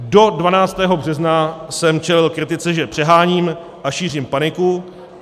Do 12. března jsem čelil kritice, že přeháním a šířím paniku.